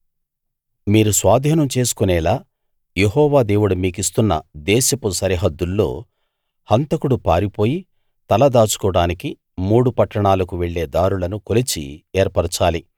మీరు స్వాధీనం చేసుకొనేలా యెహోవా దేవుడు మీకిస్తున్న దేశపు సరిహద్దుల్లో హంతకుడు పారిపోయి తల దాచుకోవడానికి మూడు పట్టణాలకు వెళ్ళే దారులను కొలిచి ఏర్పరచాలి